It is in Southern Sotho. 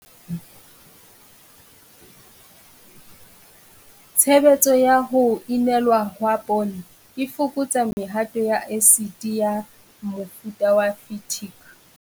Tshebetso ya ho inelwa ha poone e fokotsa mehato ya esiti ya mofuta wa phytic.